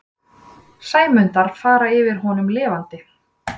Sæmundar fara yfir honum lifandi.